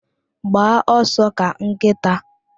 Gbaa ọsọ ka nkịta